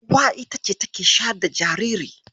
Uwa ita ce take shayar da jinjiri.